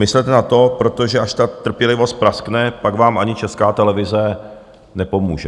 Myslete na to, protože až ta trpělivost praskne, pak vám ani Česká televize nepomůže.